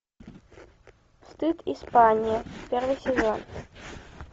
стыд испания первый сезон